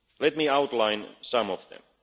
Let me outline some